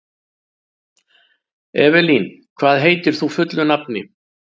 Evelyn, hvað heitir þú fullu nafni?